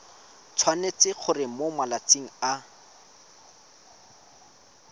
tshwanetse gore mo malatsing a